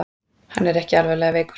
Hann er ekki alvarlega veikur